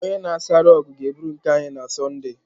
Onye na-asa rọgụ ga-eburu nke anyị na Sọnde.